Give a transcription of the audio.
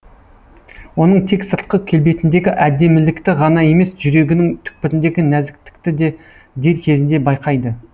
оның тек сыртқы келбетіндегі әдемілікті ғана емес жүрегінің түкпіріндегі нәзіктікті де дер кезінде байқайды